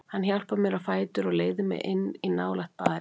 Hann hjálpar mér á fætur og leiðir mig inn í nálægt baðherbergi.